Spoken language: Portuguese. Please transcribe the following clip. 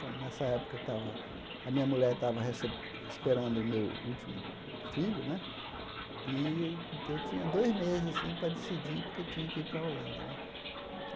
Então nessa época, eu estava a minha mulher estava rece esperando o meu último filho né, e eu tinha dois meses assim para decidir, porque tinha que ir para a Holanda né.